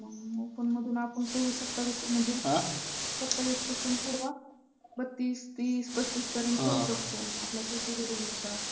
मग open मधून आपण सव्वीस सत्तावीस म्हणजे सत्तावीस पासून पुढं बत्तीस, तीस, पस्तीस पर्यंत खेळू शकतो आपल्या category नुसार.